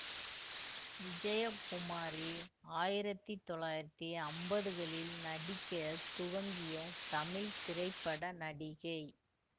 விஜயகுமாரி ஆயிரத்தி தொள்ளாயிரத்தி அம்பதுகளில் நடிக்க துவங்கிய தமிழ் திரைப்பட நடிகை